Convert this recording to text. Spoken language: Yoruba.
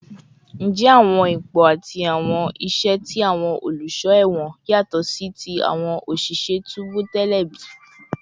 Njẹ awọn ipo ati awọn iṣẹ ti awọn oluṣọ ẹwọn yatọ si ti awọn oṣiṣẹ tubu tẹlẹ bi?